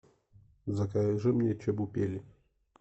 закажи мне чебупели